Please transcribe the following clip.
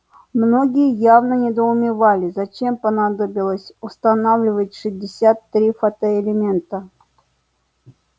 многие явно недоумевали зачем понадобилось устанавливать шестьдесят три фотоэлемента